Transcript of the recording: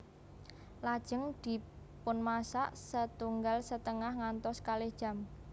Lajeng dipunmasak setunggal setengah ngantos kalih jam